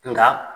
Nka